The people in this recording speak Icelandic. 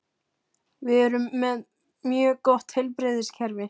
Við erum með mjög gott heilbrigðiskerfi.